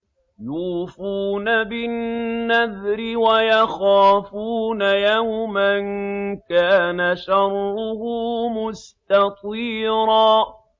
يُوفُونَ بِالنَّذْرِ وَيَخَافُونَ يَوْمًا كَانَ شَرُّهُ مُسْتَطِيرًا